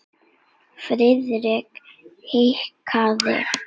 Friðrik hikaði.